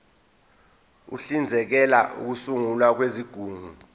uhlinzekela ukusungulwa kwezigungu